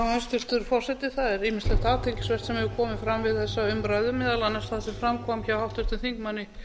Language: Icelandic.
hæstvirtur forseti það er ýmislegt athyglisvert sem hefur komið fram við þessa umræðu meðal annars það sem fram kom hjá háttvirtum þingmanni